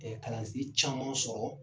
kalansen caman sɔrɔ